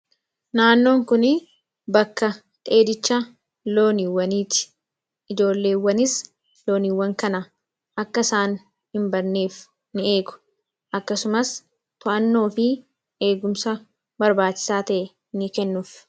Naannoon kun bakka dheedicha loowwaniiti. Ijoolleewwanis loowwan kana akka isaan hin badneef ni eegu akkasumas eegumsa barbaachisaa ta’e ni kennuuf.